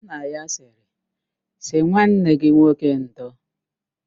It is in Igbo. Nna ya sịrị, sị nwanne gị nwoke ndo!